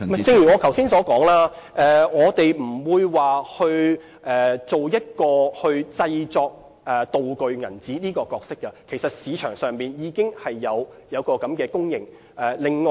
正如我剛才所說，我們不會擔當製作"道具鈔票"的角色，其實市場上已經有供應。